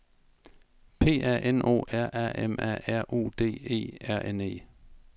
P A N O R A M A R U D E R N E